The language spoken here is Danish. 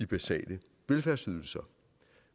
basale velfærdsydelser